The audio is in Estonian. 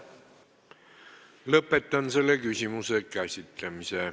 Lõpetan selle küsimuse käsitlemise.